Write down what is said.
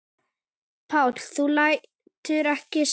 Páll: Þú lætur ekki segjast?